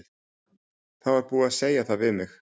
Það var búið að segja það við mig.